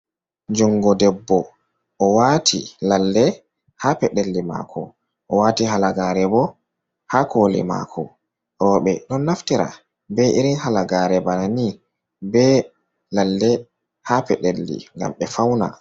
Jungo debbo oɗo wati lalle ha peɗeli mako o wati halagare bo ha koli mako roɓe on naftira be irin halagare bana ni be lalle ha peɗelli ngam ɓe fauna.